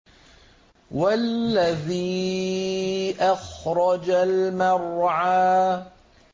وَالَّذِي أَخْرَجَ الْمَرْعَىٰ